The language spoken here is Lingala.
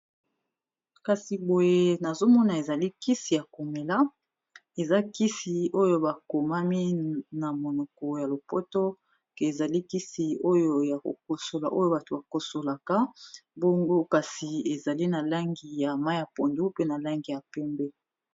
kasi boye nazomona ezalikisi ya komela eza kisi oyo bakomami na monoko ya lopoto ke ezalikisi oyo ya kokosola oyo bato bakosolaka bongo kasi ezali na langi ya ma ya pondu mpe na langi ya pembe